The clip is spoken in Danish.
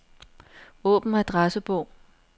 Åbn adressebog.